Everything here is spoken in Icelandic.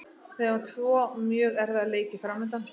Við eigum tvo mjög erfiða leiki framundan.